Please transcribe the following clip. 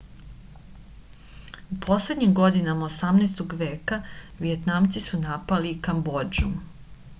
u poslednjim godinama 18. veka vijetnamci su napali i kambodžu